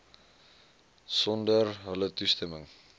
sonder hulle toestemming